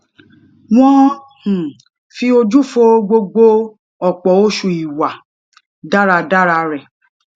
won um fi oju fo gbogbo opo osu iwa daradara re